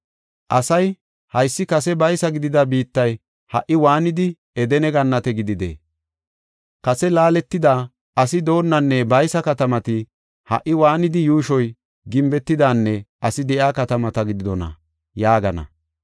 Asay, ‘Haysi kase baysa gidida biittay ha77i waanidi Edene Gannate gididee? Kase laaletida, asi doonnanne baysa katamati ha77i waanidi yuushoy gimbetidanne asi de7iya katamata gididona?’ yaagana.